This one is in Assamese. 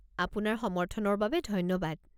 আপোনাৰ সমৰ্থনৰ বাবে ধন্যবাদ।